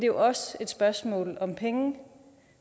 jo også et spørgsmål om penge